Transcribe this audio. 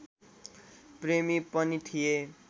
प्रेमी पनि थिए